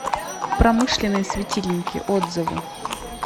промышленные светильники отзывы